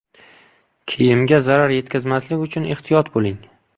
Kiyimga zarar yetkazmaslik uchun ehtiyot bo‘ling.